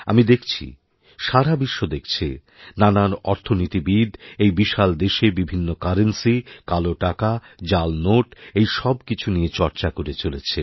আমি দেখছি সারা বিশ্ব দেখছে নানান অর্থনীতিবিদ্ এই বিশাল দেশেবিভিন্ন কারেন্সি কালো টাকা জাল নোট এই সব কিছু নিয়ে চর্চা করে চলেছে